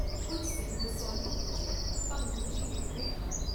ਕੁੱਝ ਸਿੰਘ ਬਸੋਹਲੀ ਪੁੱਜੇ ਭੰਗੂ ਜੀ ਲਿਖਦੇ ਹਨ